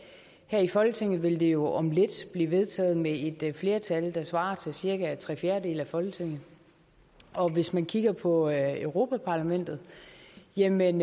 her i folketinget vil det jo om lidt blive vedtaget med et flertal der svarer til cirka tre fjerdedele af folketinget og hvis man kigger på europa parlamentet jamen